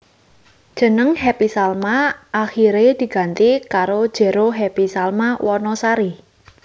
Jeneng Happy Salma akiré diganti karo Jero Happy Salma Wanasari